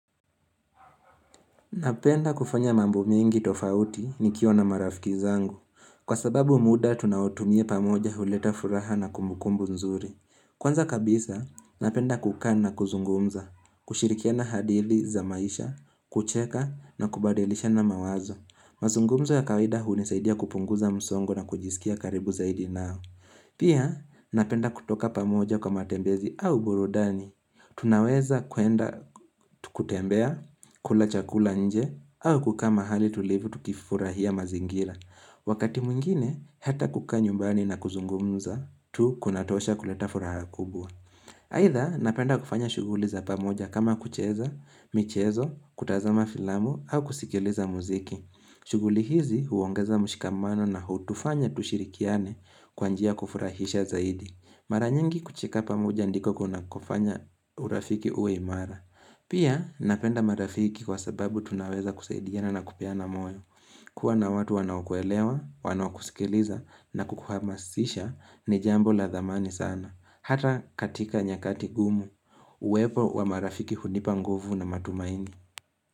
Napenda kufanya mambo mingi tofauti nikiwa na marafiki zangu. Kwa sababu muda, tunaotumia pamoja huleta furaha na kumbukumbu nzuri. Kwanza kabisa, napenda kukaa na kuzungumza, kushirikiana hadili za maisha, kucheka na kubadilishana mawazo. Mazungumzo ya kawaida hunisaidia kupunguza msongo na kujisikia karibu zaidi nao. Pia, napenda kutoka pamoja kwa matembezi au burudani. Tunaweza kuenda tukutembea, kula chakula nje, au kukaa mahali tulivu tukifurahia mazingira Wakati mwingine, hata kukaa nyumbani na kuzungumza, tu kunatosha kuleta furaha kubwa Aidha, napenda kufanya shughuli za pamoja kama kucheza, michezo, kutazama filamu, au kusikiliza muziki shughuli hizi, huongeza mshikamano na hutufanya tushirikiane kwa njia ya kufurahisha zaidi. Mara nyingi kucheka pamoja ndiko kunakofanya urafiki uwe imara. Pia napenda marafiki kwa sababu tunaweza kusaidiana na kupeana moyo. Kuwa na watu wanaokuelewa, wanaokusikiliza na kukuhamasisha ni jambo la dhamani sana. Hata katika nyakati ngumu. Uwepo wa marafiki hunipa nguvu na matumaini.